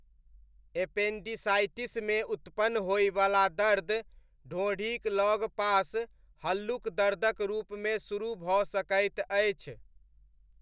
एपेण्डिसाइटिसमे उत्पन्न होइवला दर्द ढोंढ़ीक लगपास हल्लुक दर्दक रूपमे शुरू भऽ सकैत अछि।